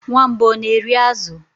Nwamba ọ na-eri azụ?